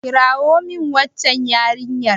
kirawo min waccan yarinyar!